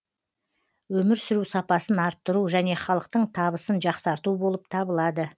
өмір сүру сапасын арттыру және халықтың табысын жақсарту болып табылады